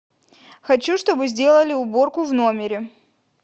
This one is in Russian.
хочу чтобы сделали уборку в номере